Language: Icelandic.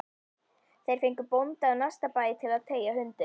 Þeir fengu bónda af næsta bæ til að teygja hundinn